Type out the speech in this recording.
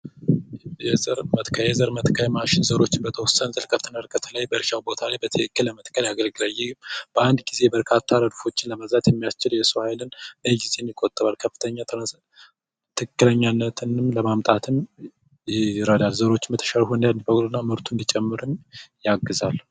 የዘር መትከያ የዘር መትከያ ማሽን የተወሰኑ ዘሮችን ጥልቀትና ርቀቱን በእርሻ ቦታው ላይ በአንድ ጊዜ በርካታ ዘሮችን ለመዝራት የሚያስችል ነው በአንድ ጊዜ ትክክለኛ ርቀቱና ጥልቀትን ለማምጣት ይረዳል የዘሮች ምርታማነት እንዲጨምር ያግዛል።